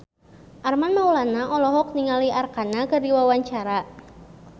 Armand Maulana olohok ningali Arkarna keur diwawancara